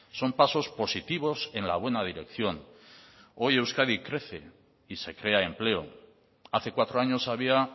son pasos positivos en la buena dirección hoy euskadi crece y se crea empleo hace cuatro años había